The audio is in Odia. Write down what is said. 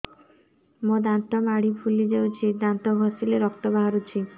ମୋ ଦାନ୍ତ ମାଢି ଫୁଲି ଯାଉଛି ଦାନ୍ତ ଘଷିଲେ ରକ୍ତ ବାହାରୁଛି